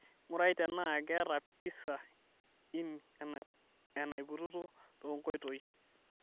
ng'urai tenaa keeta pisa inn enaipotuo tenkoitoi